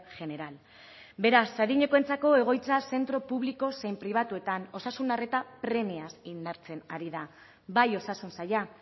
general beraz adinekoentzako egoitza zentro publiko zein pribatuetan osasun arreta premiaz indartzen ari da bai osasun saila